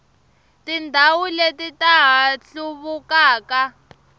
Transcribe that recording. tindhawu leti ta ha hluvukaka